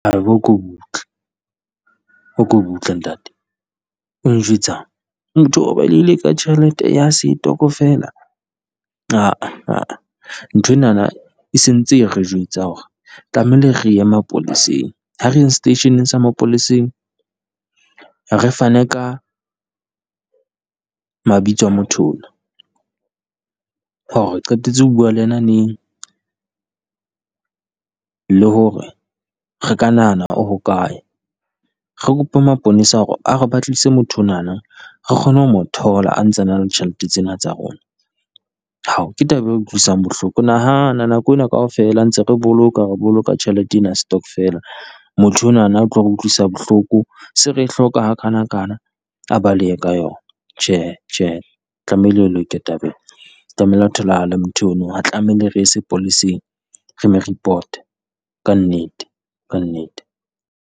Haeba a ko butle a ko butle ntate o njwetsang? Motho o balehile ka tjhelete ya setokofela ha a ha a nthwenana e sentse e re jwetsa hore tlamehile re ye mapoleseng, ha re yeng seteisheneng sa mapoleseng, re fane ka mabitso a motho ona. Hore re qetetse ho bua le yena neng, le hore re ka nahana o hokae. Re kope maponesa hore a re batlisise motho onana, re kgone ho mo thola a ntsa na le tjhelete tsena tsa rona, ke taba e utlwisang bohloko. Nahana nako ena kaofela ntse re boloka re boloka tjhelete ena ya setokfela, motho onana o tlo re utlwisa bohloko se re e hloka ha kana kana. A balehe ka yona, tjhe tjhe tlamehile e loke taba e, tlamehile a tholahale motho o no ha tlamehile re ye sepoleseng. Re lo report-a kannete, kannete.